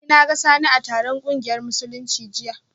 Eh, na ga Sani a taron kungiyar Musulunci jiya